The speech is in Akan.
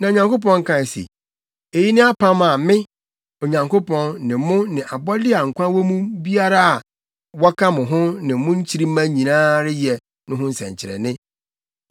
Na Onyankopɔn kae se, “Eyi ne apam a me, Onyankopɔn, ne mo ne abɔde a nkwa wɔ mu biara a wɔka mo ho no ne nkyirimma nyinaa reyɛ no ho nsɛnkyerɛnne.